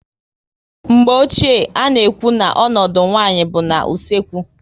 Mgbe ochie, a na ekwu na ọnọdụ nwaanyị bụ na usekwu